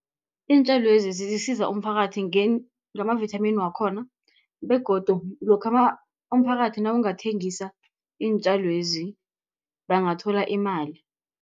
Iintjalwezi zisiza umphakathi ngamavithamini wakhona, begodu lokha umphakathi nawungathengisa iintjalwezi bangathola imali.